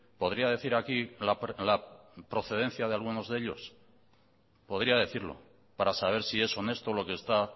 podría decir aquí la procedencia de algunos de ellos podría decirlo para saber si es honesto lo que está